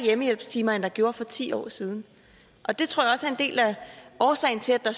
hjemmehjælpstimer end der gjorde for ti år siden og det tror del af årsagen til at